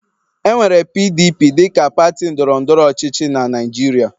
E nwere PDP dịka pati ndọrọ ndọrọ ọchịchị na Naịjirịa.